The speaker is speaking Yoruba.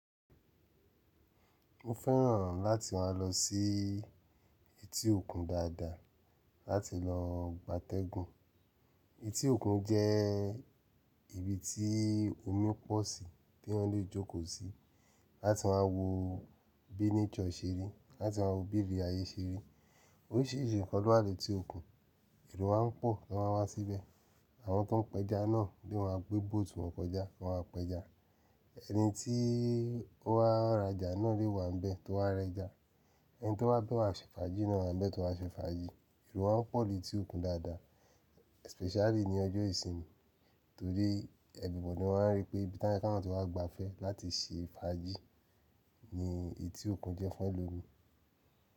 Mo fẹ́ràn láti máa lọ sí etí òkun dáadáa láti lọ gbátẹ́gùn. Etí òkun jẹ́ ibi tí omi pọ̀ sí tí wọ́n lè jókòó sí láti máa wo bí nature ṣe rí, láti máa wo bí ibi iri ayé ṣe rí. Orísìírísìí nnkán lowa létí òkun, èrò wá ń pọ̀ lọ́ ma wá síbẹ̀. Àwọn tó n pẹja náà bí wọ́n a gbé bóòtù wọn kọjá, wọ́n á pẹja. Ẹni tí ó wá rajà náà lè wà ńbẹ̀ tó wá rẹjà. Ẹni tó wá bẹ̀ wá ṣẹ fàájì náà wa ńbẹ̀ tó wá ṣẹ fàájì. Èrò màan pọ̀ ní etí òkun dáadáa, especially ní ọjọ́ ìsinmi torí ẹgbọ́n mi wọ́n rí pé bí i táwon tí wa gbafẹ́ láti ṣẹ fàájì ni etí òkun jẹ́ fún elòmíìgun.